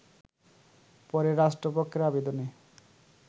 পরে রাষ্ট্র পক্ষের আবেদনে